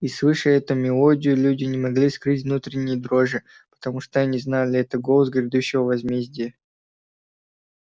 и слыша эту мелодию люди не могли скрыть внутренней дрожи потому что они знали это голос грядущего возмездия